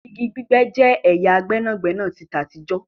Ìgi gbígbẹ̀ jẹ́ ẹ̀yà gbẹnagbẹna tí àtijọ̀